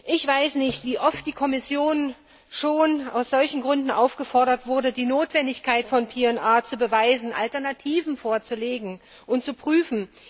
Ich weiß nicht, wie oft die Kommission bereits aus solchen Gründen aufgefordert wurde, die Notwendigkeit der Übermittlung von PNR zu beweisen, Alternativen vorzulegen und zu prüfen.